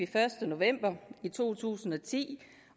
første november to tusind og ti